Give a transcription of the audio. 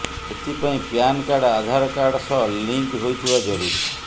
ଏଥିପାଇଁ PAN card Aadhaar card ସହ link ହୋଇଥିବା ଜରୁରୀ